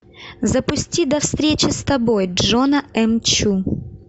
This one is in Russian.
запусти до встречи с тобой джона м чу